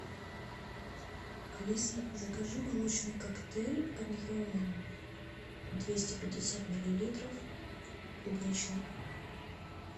алиса закажи молочный коктейль объемом двести пятьдесят миллилитров клубничный